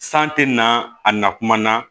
San tɛ na a na kuma na